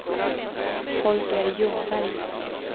Holger Ljungberg